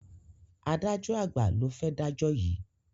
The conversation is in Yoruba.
Adájo àgbà lo fé dajọ yí.